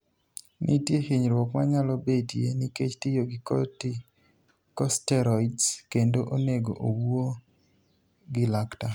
Nitie hinyruok manyalo betie nikech tiyo gi corticosteroids, kendo onego owuo gi laktar.